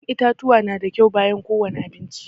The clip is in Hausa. Ya'yan itatuwa na da kyau bayan ko wani abinci